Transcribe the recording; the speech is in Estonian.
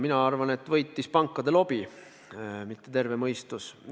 Mina arvan, et võitis pankade lobi, mitte terve mõistus.